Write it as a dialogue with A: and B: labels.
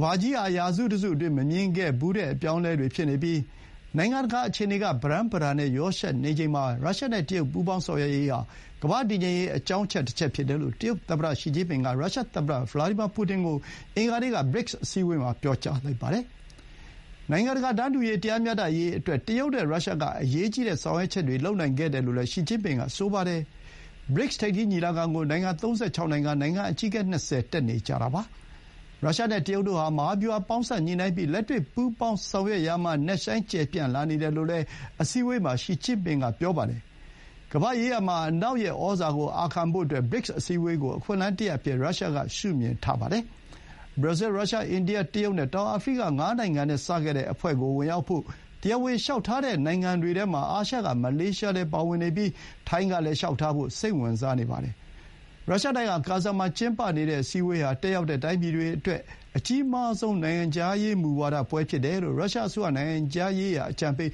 A: ဘာကြီးဟာ ရာစုတစုအတွင်း မမြင်ခဲ့ဖူးတဲ့ အပြောင်းအလဲတွေဖြစ်နေပြီး နိုင်ငံတကာ အခြေအနေက ပရမ်းပတာနဲ့ ရောယှက်နေချိန်မှာ ရုရှားနဲ့တရုတ်ပူးပေါင်းဆောင်ရွက်ရေးဟာ ကမ္ဘာ့တည်ငြိမ်ရေး အကြောင်းအချက်တချက် ဖြစ်တယ်လို့ တရုတ်သမ္မတရှီကျင်းပင်က ရုရှား သမ္မတ ဗလာဒီမာပူတင်ကို အင်္ဂါနေ့က BRICS အစည်းအဝေးမှာ ပြောလိုက်ပါတယ်။ နိုင်ငံတကာတန်းတူရေး၊ တရားမျှတရေးအတွက် တရုတ်နဲ့ရုရှားက အရေးကြီးတဲ့ဆောင်ရွက်ချက်တွေ လုပ်နိုင်ခဲ့တယ်လို့လည်း ရှီကျင်းပင်က ဆိုပါတယ်။ BRICS ထိပ်သီးညီလာခံကို နိုင်ငံ ၃၆ နိုင်ငံ၊ နိုင်ငံ အကြီးအကဲ ၂၀ တက်နေကြပါတယ်။ ရုရှားနဲ့တရုတ်တို့ဟာ မဟာဗျူဟာပေါင်းစပ်ညှိနှိုင်းပြီး လက်တွေ့ ပူးပေါင်းဆောင်ရွက်ရာမှာ နက်ရှိုင်း ကျယ်ပြန့်လာနေတယ်လို့လည်း အစည်းအဝေးမှာ ရှီကျင့်ပင်က ပြောပါတယ်။ ကမ္ဘာ့ရေးရာမှာ အနောက်ရဲ့ ဩဇာကို အာခံဖို့အတွက် BRICS အစည်းအဝေးကို အခွင့်အလမ်းတရပ် အဖြစ် ရုရှားက ရှုမြင်တာပါ။ Brazil, Russa, India, တရုတ် နဲ့ တောင်အာဖရိက ငါးနိုင်ငံနဲ့ စခဲ့တဲ့ အဖွဲ့ကို ဝင်ရောက်ဖို့ တရားဝင် လျှောက်ထားတဲ့ နိုင်ငံတွေထဲမှာ အာရှ က မလေးရှား ပါဝင်နေပြီး ထိုင်းကလည်း လျှောက်ထားဖို့ စိတ်ဝင်စားနေပါတယ်။ ရုရှားနိုင်ငံ ကာဇန်မှာကျင်းပနေတဲ့ အစည်းအဝေးဟာ တက်ရောက်တဲ့ တိုင်းပြည်တွေအတွက် အကြီးမားဆုံး နိုင်ငံခြားရေးမူဝါဒ ပွဲဖြစ်တယ်လို့ ရုရှားအစိုးရ နိုင်ငံခြားရေးရာအကြံပေ